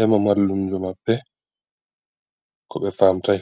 ema mallumjo maɓɓe ko be famtai.